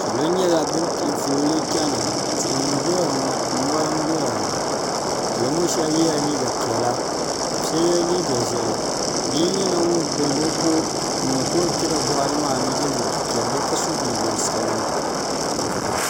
salo nyɛla bin piɛ fooli chɛni ha tihi n ʒɛya ŋɔ mori n doya salo ŋɔ shab yɛla liiga piɛla ka shab yɛ liiga ʒiɛhi bia nyɛla ŋun birigi o kɔ n niŋ ka o yɛn kpɛla boɣali maa ni n yɛ liiga piɛlli ka so jinjɛm sabinli